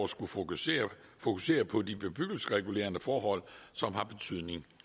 skulle fokusere fokusere på de bebyggelsesregulerende forhold som har betydning